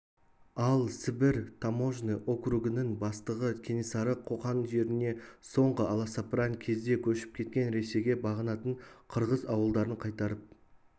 ал сібір таможный округінің бастығы кенесары қоқан жеріне соңғы аласапыран кезде көшіп кеткен ресейге бағынатын қырғыз ауылдарын қайтарып